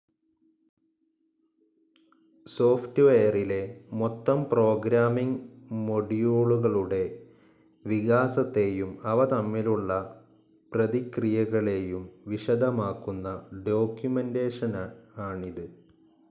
Soft വെയറിലെ മൊത്തം programming മോഡ്യൂളുകളുടെ വികാസത്തേയും അവ തമ്മിലുള്ള പ്രതിക്രിയകളേയും വിശദമാക്കുന്ന ഡോക്യുമെന്റേഷൻ ആണിത്.